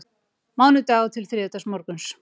Mánudagur til þriðjudagsmorguns